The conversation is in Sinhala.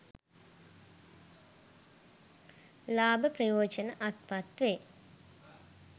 ලාභ ප්‍රයෝජන අත්පත් වේ.